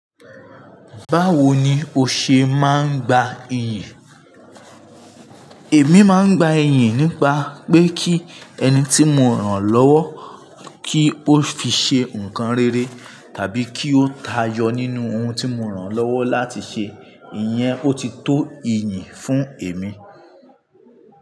Báwo ni o ṣe máa ń gba iyì? Èmi máa ń gba iyì nípa pé kí ẹni tí mo ràn lọ́wọ́ kí ó fi ṣe nǹkan rere tàbí kí ó tayọ nínú ohun tí mo ràn lọ́wọ́ láti ṣe, ìyẹn ó ti tó iyìn fún èmi.